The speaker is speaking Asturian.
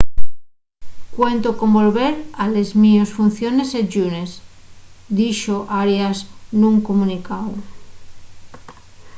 cuento con volver a les mios funciones el llunes” dixo arias nun comunicáu